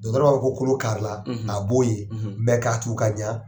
ko kolo kari , a b'o ye . ka tugu ka ɲa